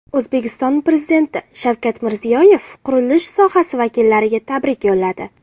O‘zbekiston Prezidenti Shavkat Mirziyoyev qurilish sohasi vakillariga tabrik yo‘lladi.